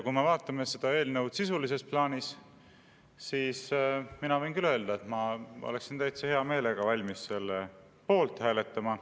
Kui me vaatame seda eelnõu sisulises plaanis, siis mina võin küll öelda, et ma oleksin täitsa hea meelega valmis selle poolt hääletama.